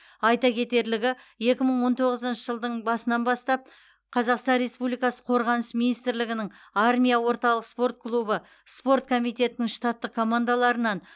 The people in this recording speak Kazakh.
айта кетерлігі екі мың он тоғызыншы жылдың басынан бастап қазақстан республикасы қорғаныс министрлігінің армия орталық спорт клубы спорт комитетінің штаттық командаларынан